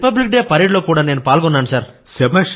republic Day parade లో కూడా నేను పాల్గొన్నాను సర్